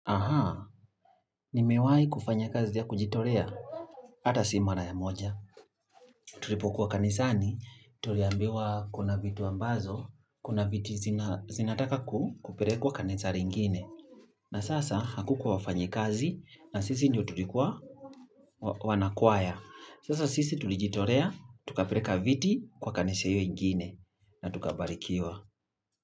Aha, nimewahi kufanya kazi ya kujitolea, hata si mara ya moja. Tulipokuwa kanisani, tuliambiwa kuna vitu ambazo, kuna viti zinataka kupelekwa kanisa lingine. Na sasa hakukuwa wafanyikazi, na sisi ndio tulikuwa wana kwaya. Sasa sisi tulijitolea, tukapeleka viti kwa kanisa hio ingine, na tukabarikiwa.